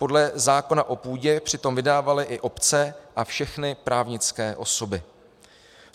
Podle zákona o půdě přitom vydávaly i obce a všechny právnické osoby.